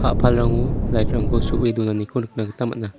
a·palrango lait rangko so·e donaniko nikna gita man·a.